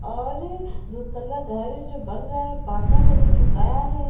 और दूतला घर जो बन रहा है पाठा है जो ठुकाया है।